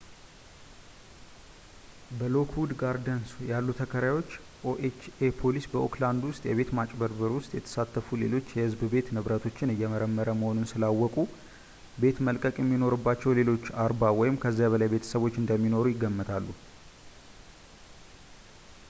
በሎክዉድ ጋርደንስ ያሉ ተከራዮች ኦኤችኤ ፖሊስ በኦክላድ ውስጥ የቤት ማጭበርበር ውስጥ የተሳተፉ ሌሎች የህዝብ ቤት ንብረቶችን እየመረመረ መሆኑን ስላወቁ ቤት መልቀቅ የሚኖርባቸው ሌሎች 40 ወይም ከዚያ በላይ ቤተሰቦች እንደሚኖሩ ይገምታሉ